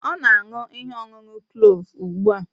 Ọ na-aṅụ ihe ọṅụṅụ kloovu ugbu a